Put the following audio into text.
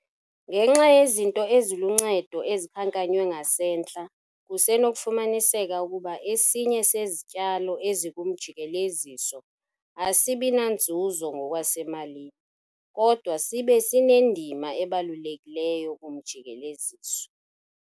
Ngenxa yezinto eziluncedo ezikhankanywe ngasentla kusenokufumaniseka ukuba esinye sezityalo ezikumjikeleziso asibi nanzuzo ngokwasemalini kodwa sibe sinendima ebalulekileyo kumjikeleziso.